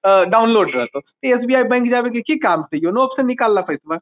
त डाउनलोड रहतो ते एस.बी.आई. बैंक जाय के की काम छै योनो ऐप से निकाएल ले पैसबा ।